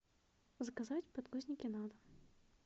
заказать подгузники на дом